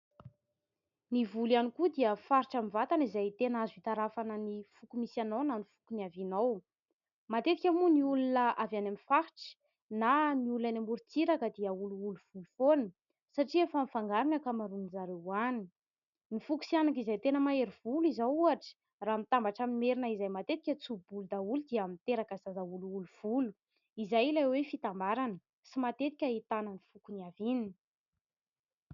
Ny volo iany koa dia faritra ny vatana izay tena azo hitarafana ny foko misy anao na ny fokon'ny avianao. Matetika moa ny olona avy any amin'ny faritra na ny olona any Morontsiraka dia olo olo volo foana, satria efa nifangarina ankamaroan'izareo hany. Ny foko Sihanaka izay tena mahery volo izao ohotra raha mitambatra amin'ny Merina ,izay matetika tsoho volo daholo dia miteraka zaza olo olo volo, izay ilay hoe fitambarana ,tsy matetika hitana ny fokon'ny aviany.